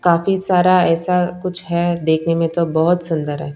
काफी सारा ऐसा कुछ है देखने में तो बहोत सुंदर--